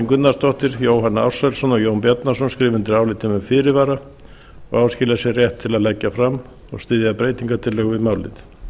gunnarsdóttir jóhann ársælsson og jón bjarnason skrifa undir álitið með fyrirvara og áskilja sér rétt til að leggja fram og styðja breytingartillögur við málið